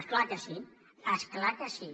és clar que sí és clar que sí